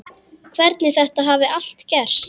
Hvernig þetta hafi allt gerst.